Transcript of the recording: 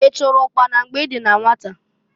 I chụrụ ụkpana mgbe i dị na nwata?